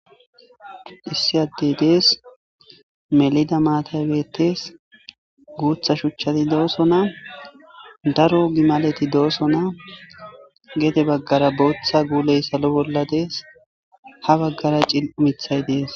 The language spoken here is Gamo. issi addey dees melida maatay bettes guutha shuchati doosona daro gimaleti doosona geede baggara booththa guuley salo bolla dees ha baggara cil7o mithay dees